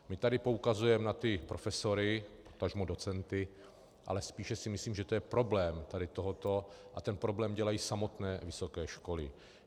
My taky poukazujeme na ty profesory, potažmo docenty, ale spíše si myslím, že to je problém tady tohoto a ten problém dělají samotné vysoké školy.